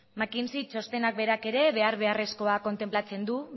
mackenzie txostenak berak ere behar beharrezkoa kontenplatzen du